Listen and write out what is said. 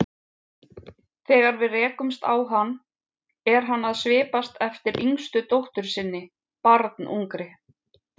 Þegar við rekumst á hann er hann að svipast eftir yngstu dóttur sinni, barnungri.